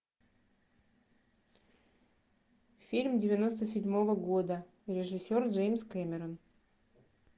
фильм девяносто седьмого года режиссер джеймс кэмерон